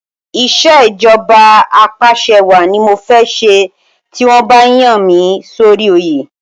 Ìṣèjọba Apàṣẹwàá ni mo fẹ́ ṣe ti wọ́n bá yàn mí sórí oyè.